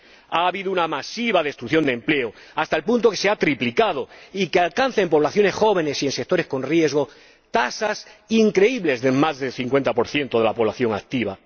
Ha habido una masiva destrucción de empleo, hasta el punto de que el desempleo se ha triplicado y alcanza, en poblaciones jóvenes y en sectores con riesgo, tasas increíbles de más del 50 de la población activa.